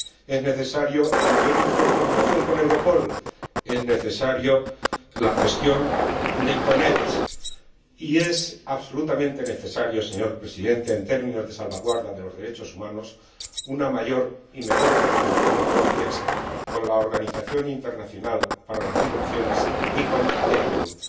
Es necesaria una mayor y mejor coordinación con Europol, es necesaria la gestión de Iconex y es absolutamente necesaria, señor Presidente, en términos de salvaguarda de los derechos humanos, una mayor y mejor coordinación de Frontex con la Organización Internacional para las Migraciones y con el ACNUR.